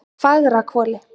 Fagrahvoli